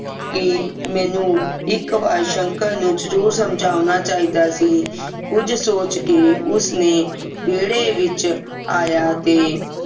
ਕਿ ਮੈਨੂੰ ਇਕ ਵਾਰ ਸ਼ੰਕਰ ਨੂੰ ਜਰੂਰ ਸਮਝਾਉਣਾ ਚਾਹੀਦਾ ਸੀ ਕੁਝ ਸੋਚ ਕੇ ਉਸ ਨੇ ਵਿਹੜੇ ਵਿਚ ਆਇਆ ਤੇ